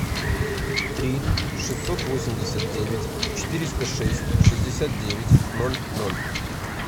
три шестьсот восемьдесят девять четыреста шесть шестьдесят девять ноль ноль